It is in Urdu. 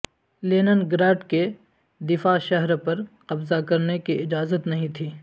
لینن گراڈ کے دفاع شہر پر قبضہ کرنے کی اجازت نہیں تھی